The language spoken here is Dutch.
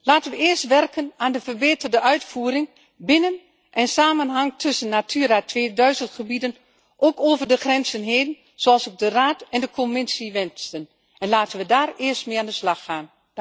Laten we eerst werken aan verbeterde uitvoering binnen en samenhang tussen Natura 2000 gebieden, ook over de grenzen heen, zoals ook de Raad en de Commissie wensen en laten we daar eerst mee aan de slag gaan.